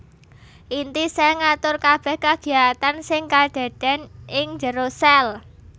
Inti sèl ngatur kabèh kagiyatan sing kadadèn ing jero sèl